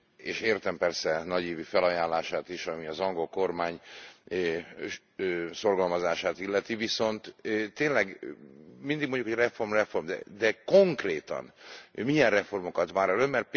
És értem persze nagy ívű felajánlását is, ami az angol kormány szorgalmazását illeti, viszont tényleg, mindig mondjuk, hogy reform, reform, de konkrétan milyen reformokat vár el Ön?